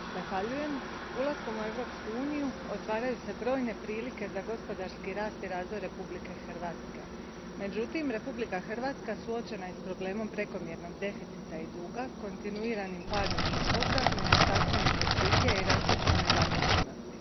Poštovana predsjednice, ulaskom u Europsku uniju otvaraju se brojne prilike za gospodarski rast i razvoj Republike Hrvatske. Međutim, Republika Hrvatska suočena je s problemom prekomjernog deficita i duga, kontinuiranim padom izvoza, nedostatkom investicija i rastućom nezaposlenosti.